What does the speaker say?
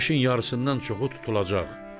Günəşin yarısından çoxu tutulacaq.